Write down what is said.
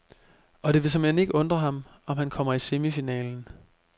Og det vil såmænd ikke undre ham, om han kommer i semifinalen.